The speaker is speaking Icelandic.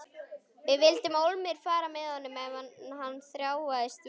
Við vildum ólmir fara með honum en hann þráaðist við.